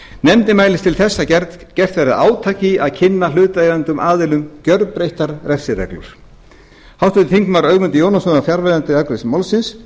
nefndin mælist til þess að gert verði átak í að kynna hlutaðeigandi aðilum gjörbreyttar refsireglur háttvirtur þingmaður ögmundur jónasson var fjarverandi við afgreiðslu málsins